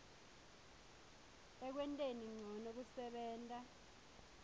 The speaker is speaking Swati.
ekwenteni ncono kusebenta